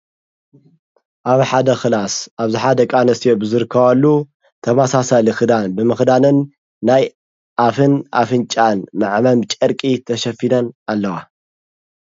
ኣብ ሓደ ኽላስ ኣብዝኃደ ቃነስዮ ብዘርካዋሉ ተማሳሰ ልኽዳን ብምኽዳንን ናይ ኣፍን ኣፍንጫን መዕመም ጨርቂ ተሸፊነን ኣለዋ።